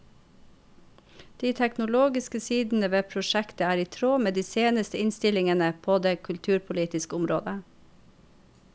De teknologiske sidene ved prosjektet er i tråd med de seneste innstillingene på det kulturpolitiske området.